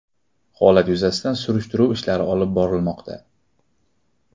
Holat yuzasidan surishtiruv ishlari olib borilmoqda.